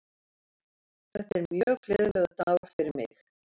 Þetta er mjög gleðilegur dagur fyrir mig.